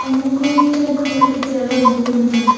ama kui chankhung eto table boh ngan taiga.